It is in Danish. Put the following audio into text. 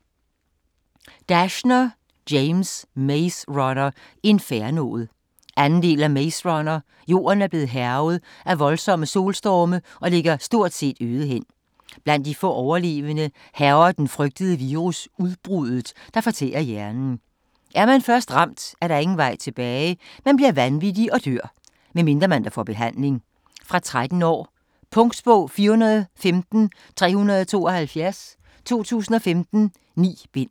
Dashner, James: Maze runner - infernoet 2. del af Maze runner. Jorden er blevet hærget af voldsomme solstorme og ligger stort set øde hen. Blandt de få overlevende hærger den frygtede virus "udbruddet", der fortærer hjernen. Er man først ramt, er der ingen vej tilbage, man bliver vanvittig og dør. Medmindre man får behandling. Fra 13 år. Punktbog 415372 2015. 9 bind.